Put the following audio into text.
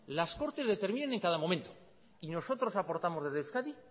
las cortes determinen en cada momento y nosotros aportamos desde euskadi